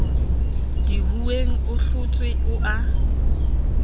dihuweng o hlotswe o a